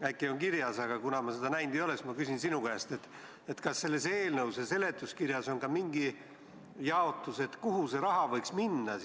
on see kirjas, aga kuna ma seda näinud ei ole, siis ma küsin sinu käest: kas selles eelnõus ja seletuskirjas on ka mingi jaotus, kuhu see raha võiks siis minna?